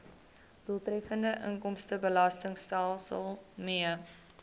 doeltreffende inkomstebelastingstelsel mee